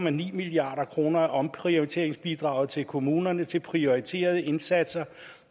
en milliard kroner af omprioriteringsbidraget til kommunerne til prioriterede indsatser